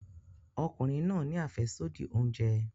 Ọkùnrin náà ni afesodi oúnjẹ.